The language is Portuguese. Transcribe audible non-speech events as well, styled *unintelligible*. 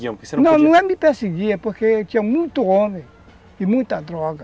*unintelligible* Não, não é me perseguir, é porque tinha muito homem e muita droga.